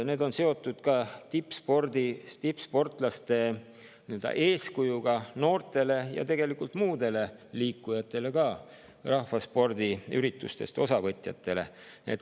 Need on seotud ka tippsportlaste eeskujuga noortele ja tegelikult ka muudele liikujatele, ka rahvaspordiüritustest osavõtjatele.